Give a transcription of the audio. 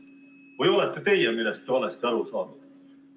Või olete teie millestki valesti aru saanud?